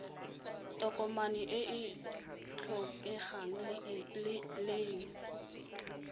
tokomane e e tlhokegang leng